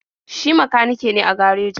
Shi makanike ne a garejin.